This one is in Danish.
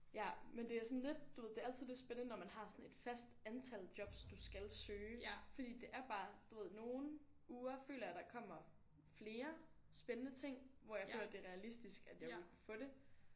Ja men det er sådan lidt du ved det er altid lidt spændende når man har sådan et fast antal jobs du skal søge fordi det er bare du ved nogle uger føler jeg der kommer flere spændende ting hvor jeg føler det er realistisk at jeg overhovedet kunne få det